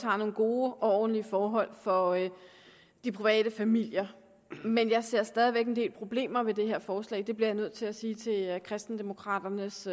har nogle gode og ordentlige forhold for de private familier men jeg ser stadig væk en del problemer ved det her forslag det bliver jeg nødt til at sige til kristendemokraternes